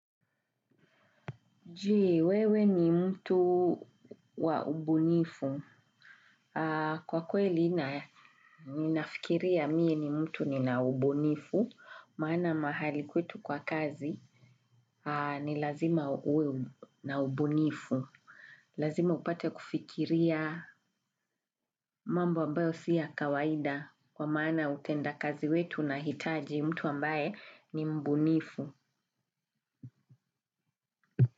Je, wewe ni mtu wa ubunifu. Kwa kweli ninafikiria mie ni mtu ni na ubunifu. Maana mahali kwetu kwa kazi ni lazima uwe na ubunifu. Lazima upate kufikiria mambo ambayo si ya kawaida. Kwa maana utenda kazi wetu unahitaji mtu ambaye ni mbunifu.